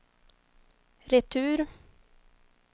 retur